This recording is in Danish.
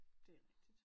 Det er rigtigt